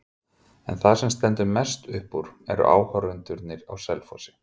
En það sem stendur mest upp úr eru áhorfendurnir á Selfossi.